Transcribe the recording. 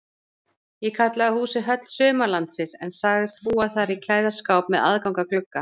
Ég kallaði húsið Höll Sumarlandsins en sagðist búa þar í klæðaskáp með aðgangi að glugga.